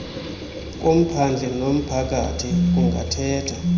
komphandle nomphakathi kungathetha